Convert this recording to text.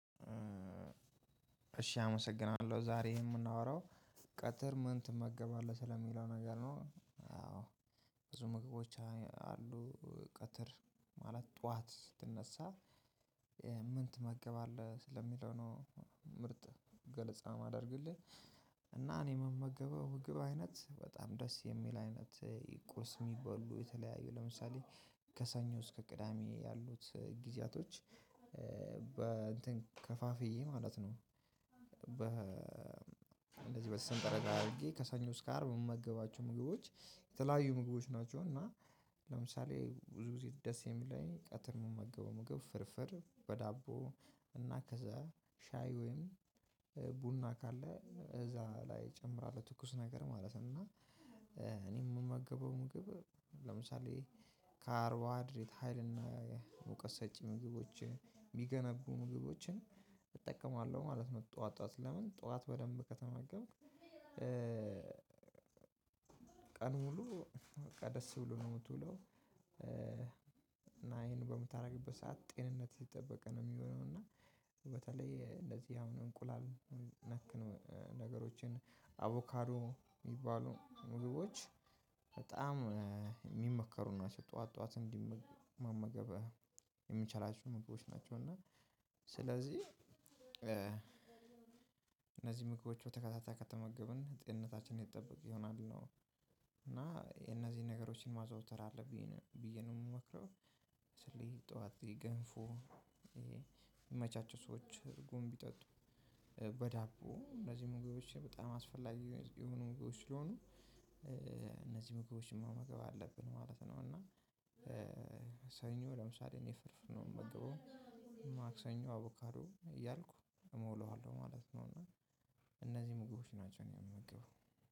እሺ አመሰግናለሁ ዛሬ የምናወራው ቀትር ምን ትመገባለህ ስለሚለው ነገር ነው? አዎ ብዙ ምግቦች አሉ ቀትር ማለት ጠዋት ስትነሳ ምን ትመገባለህ ስለሚለው ነው ምርጥ ገለጻ ማደርግልህ። እና እኔ የምመገበው ምግብ አይነት በጣም ደስ የሚል አይነት ይቁርስ የሚበሉ የተለያዩ ለምሳሌ ከሰኞ እስከ ቅዳሜ ያሉት ጊዜያቶች። በእንትን ከፋፍዬ ማለት ነው። በ እንደዚህ በሰንጠረዥ አድርጌ ከሰኞ እስከ አርብ የምመገባቸው ምግቦች የተለያዩ ምግቦች ናቸው። እና ለምሳሌ ብዙ ጊዜ ደስ የሚለኝ ቀትር የምመገበው ምግብ ፍርፍር በዳቦ እና ከዛ ሻይ ወይም ቡና ካለ እዛ ላይ እጨምራለሁ ትኩስ ነገር ማለት እና። እኔ የምመገበው ምግብ ለምሳሌ ካርቦሀይድሬት ሀይልና የሙቀት ሰጭ ምግቦች የሚገነቡ ምግቦችን እጠቀማለሁ ማለት ነው። ጠዋት ጠዋት ለምን? ጠዋት በደንብ ከተመገብክ ቀን ሙሉ በቃ ደስ ብሎ ነው የምትውለው። እና ይሄንን በምታደርግበት ሰዓት ጤንነት የተጠበቀ ነው የሚሆነው። እና በተለይ እንደዚህ አሁን እንቁላል ነክ ነገሮችን አቮካዶ የሚባሉ ምግቦች በጣም የሚመከሩ ናቸው። ጠዋት ጠዋት እንዲመገበ የሚችላቸው ምግቦች ናቸው። እና ስለዚህ እነዚህን ምግቦች በተከታታይ ከተመገብን ጤንነታችን የተጠበቀ ይሆናል ነው። እና የነዚህን ነገሮችን ማዘውተር አለብኝ ብየ ነው ምመክረው። ስለዚ ጠወት ገንፎ። ሚመቻቸው ሰዎች እርጎ ሚጠጡ በዳቦ እነዚህ ምግቦች በጣም አስፈላጊ የሆኑ ምግቦች ስለሆኑ እነዚህ ምግቦች መመገብ አለብን ማለት ነው። እና ሰኞ ለምሳሌ እኔ ፍርፍር ነው የምመገበው። ማክሰኞ አቡካሩ እያልኩ እሞላዋለሁ ማለት ነው። እና እነዚህ ምግቦች ናቸው እኔ የምመገበው